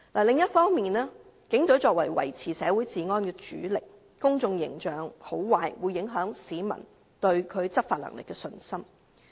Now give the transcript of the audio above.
另一方面，警隊作為維持社會治安的主力，其公眾形象的好壞會影響市民對其執法能力的信心。